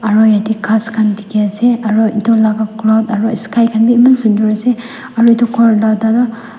aro yatae ghas khan dikhiase aru edu laka cloud aro sky khan bi eman sunder ase aro edu khor la ada toh--